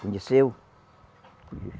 Conheceu?